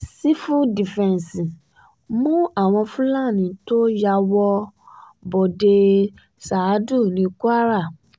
sífù dífẹ́ǹsì um mú àwọn fúlàní tó um ya wọ́ bọ́dẹ ṣáádú ní kwara